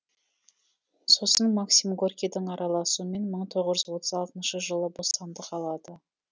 сосын максим горькийдің араласуымен мың тоғыз жүз отыз алтыншы жылы бостандық алады